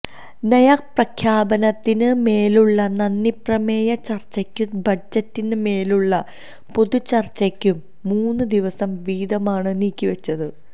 നയപ്രഖ്യാപനത്തിന് മേലുളള നന്ദിപ്രമേയ ചർച്ചയ്ക്കും ബജറ്റിന് മേലുളള പൊതുചർച്ചയ്ക്കും മൂന്ന് ദിവസം വീതമാണ് നീക്കിവച്ചത്